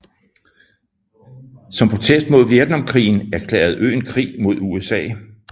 Som protest mod Vietnamkrigen erklærede øen krig mod USA